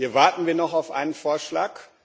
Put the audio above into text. Hier warten wir noch auf einen Vorschlag.